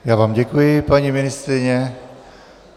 Já vám děkuji, paní ministryně .